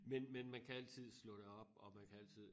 Men men man kan altid slå det op og man kan altid